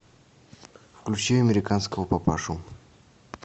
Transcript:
включи американского папашу